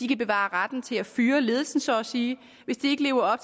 kan bevare retten til at fyre ledelsen så at sige hvis de ikke lever